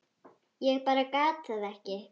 Ég bara gat það ekki.